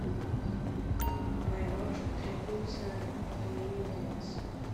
моей бабушке требуется пополнение баланса